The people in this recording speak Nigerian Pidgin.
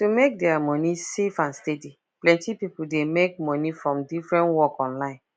to make their money safe and steady plenty people dey make money from different work online